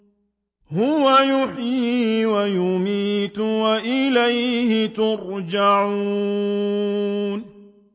هُوَ يُحْيِي وَيُمِيتُ وَإِلَيْهِ تُرْجَعُونَ